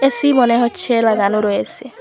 AC মনে হচ্ছে লাগানো রয়েসে ।